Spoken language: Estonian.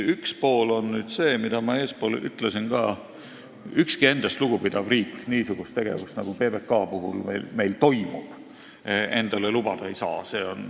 Üks pool on see, mida ma ka eespool ütlesin, et ükski endast lugupidav riik endale niisugust tegevust, nagu meil PBK puhul toimub, lubada ei saa.